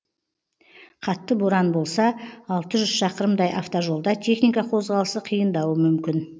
қатты боран болса алты жүз шақырымдай автожолда техника қозғалысы қиындауы мүмкін